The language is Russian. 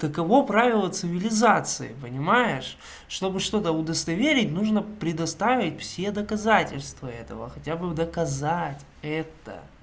таково правило цивилизации понимаешь чтобы что-то удостоверить нужно предоставить все доказательства этого хотя бы доказать это